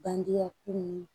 Bandiya kun